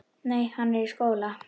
Nei, hann er í skóla.